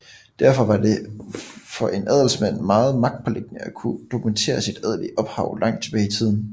Derfor var det for en adelsmand meget magtpåliggende at kunne dokumentere sit adelige ophav langt tilbage i tiden